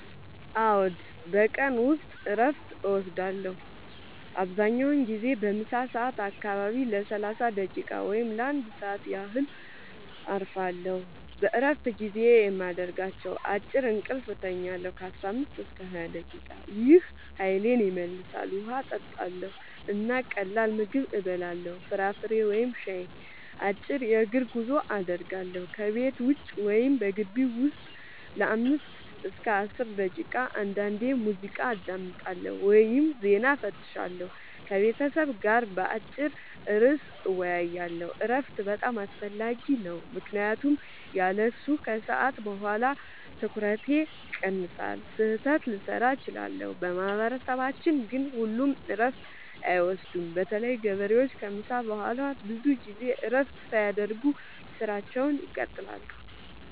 አዎ፣ በቀን ውስጥ እረፍት እወስዳለሁ። አብዛኛውን ጊዜ በምሳ ሰዓት አካባቢ ለ30 ደቂቃ ወይም ለ1 ሰዓት ያህል እረፋለሁ። በእረፍት ጊዜዬ የማደርጋቸው፦ · አጭር እንቅልፍ እተኛለሁ (15-20 ደቂቃ) – ይህ ኃይሌን ይመልሳል። · ውሃ እጠጣለሁ እና ቀላል ምግብ እበላለሁ (ፍራፍሬ ወይም ሻይ)። · አጭር የእግር ጉዞ አደርጋለሁ – ከቤት ውጭ ወይም በግቢው ውስጥ ለ5-10 ደቂቃ። · አንዳንዴ ሙዚቃ አዳምጣለሁ ወይም ዜና እፈትሻለሁ። · ከቤተሰብ ጋር በአጭር ርዕስ እወያያለሁ። እረፍት በጣም አስፈላጊ ነው ምክንያቱም ያለሱ ከሰዓት በኋላ ትኩረቴ ይቀንሳል፣ ስህተት ልሠራ እችላለሁ። በማህበረሰባችን ግን ሁሉም እረፍት አይወስዱም – በተለይ ገበሬዎች ከምሳ በኋላ ብዙ ጊዜ እረፍት ሳያደርጉ ሥራቸውን ይቀጥላሉ።